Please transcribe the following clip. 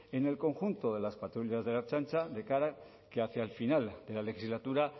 en el conjunto de las patrullas de la ertzaintza de cara que hacia el final de la legislatura